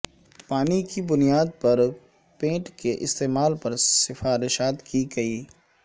پانی کی بنیاد پر پینٹ کے استعمال پر سفارشات کے کئی